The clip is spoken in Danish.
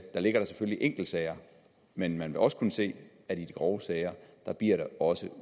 ligger enkeltsager men man vil også kunne se at i de grove sager bliver der også